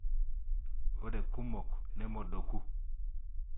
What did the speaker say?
Ore kumok nemodoku.